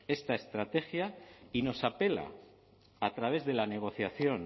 esta estrategia y nos apela a través de la negociación